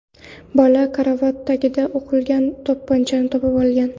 Bola karavot tagidan o‘qlangan to‘pponchani topib olgan.